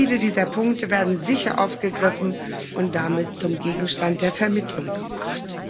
Viele dieser Punkte werden sicher aufgegriffen und damit zum Gegenstand der Vermittlung gemacht.